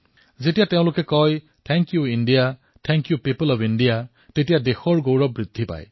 যেতিয়া তেওঁলোকে কয় ধন্যবাদ ভাৰত ধন্যবাদ ভাৰতবাসী তেতিয়া দেশৰ বাবে গৌৱৰ আৰু অধিক বৃদ্ধি হৈ পৰে